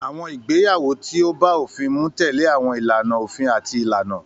Àwọn ìgbéyàwó tí ó bá òfin mu tẹ̀lé àwọn ìlànà òfin àti ìlànà.